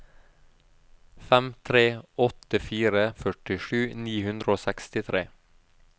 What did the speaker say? fem tre åtte fire førtisju ni hundre og sekstitre